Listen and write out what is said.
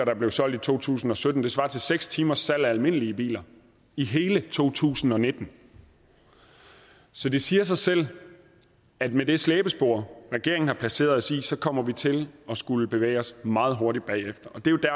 er blevet solgt i to tusind og sytten og det svarer til seks timers salg af almindelige biler i hele to tusind og nitten så det siger sig selv at med det slæbespor regeringen har placeret os i så kommer vi til at skulle bevæge os meget hurtigt bagefter